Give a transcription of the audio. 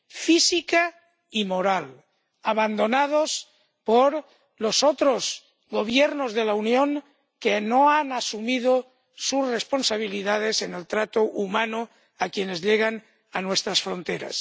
física y moral, abandonados por los otros Gobiernos de la Unión, que no han asumido sus responsabilidades en el trato humano con quienes llegan a nuestras fronteras.